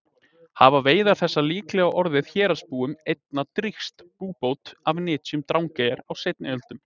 Hafa veiðar þessar líklega orðið héraðsbúum einna drýgst búbót af nytjum Drangeyjar á seinni öldum.